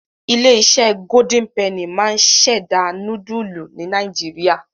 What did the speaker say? Ilé-iṣẹ́ Golden penny máa ń ṣẹ̀dá núdúlù ní Nàìjíríà.